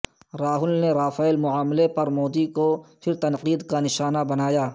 راہل نے رافیل معاملہ پر مودی کو پھر تنقید کا نشانہ بنایا